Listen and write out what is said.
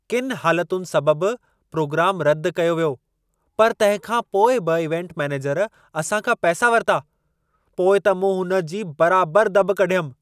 किनि हालतुनि सबब प्रोग्रामु रदि कयो वियो, पर तंहिं खां पोइ बि इवेंट मैनेजर असां खां पैसा वरिता। पोइ त मूं हुन जी बराबर दॿ कढियमि।